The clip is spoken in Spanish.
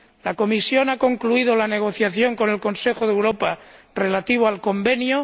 La Comisión ha concluido la negociación con el Consejo de Europa relativa al Convenio.